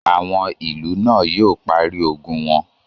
Àwọn ìlú náà yóò parí ogun wọn.